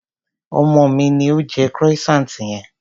Ọmọ mi ni ó jẹ croissant yẹn.